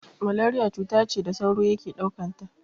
Malariya cuta ce da sauro yake ɗaukanta.